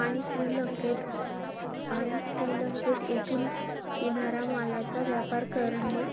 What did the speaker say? आणि श्रीलंकेत~ आणि श्रीलंकेत इथून किनारा मालाचा व्यापार करणे.